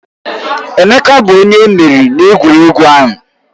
Emeka bụ onye emeriri n'egwuregwu ahụ.